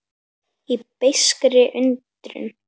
Í beiskri undrun.